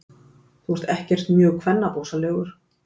Þú ert ekkert mjög kvennabósalegur.